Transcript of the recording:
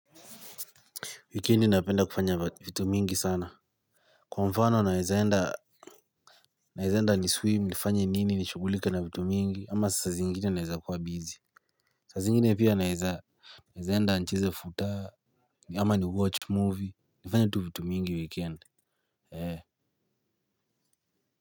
Wikendi napenda kufanya vitu mingi sana. Kwa mfano naeza enda naeza enda ni swim nifanye nini nishugulike na vitu mingi ama saa zingine naeza kuwa busy. Saa zingine pia naeza naeza enda ncheze futaa ama ni watch movie nafanya tu vitu mingi wikendi.